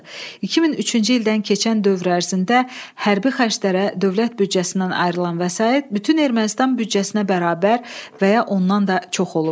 2003-cü ildən keçən dövr ərzində hərbi xərclərə dövlət büdcəsindən ayrılan vəsait bütün Ermənistan büdcəsinə bərabər və ya ondan da çox olub.